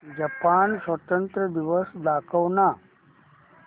Japan स्वातंत्र्य दिवस दाखव ना